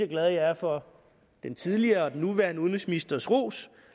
glad jeg er for den tidligere og den nuværende udenrigsministers ros